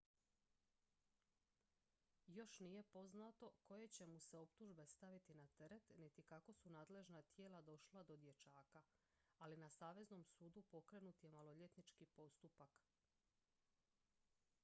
još nije poznato koje će mu se optužbe staviti na teret niti kako su nadležna tijela došla do dječaka ali na saveznom sudu pokrenut je maloljetnički postupak